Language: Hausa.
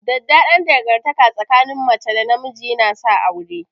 Daɗaɗɗan dangantaka tsakin mace da namiji yana sa aure.